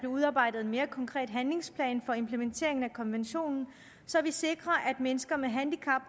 udarbejdet en mere konkret handlingsplan for implementeringen af konventionen så vi sikrer at mennesker med handicap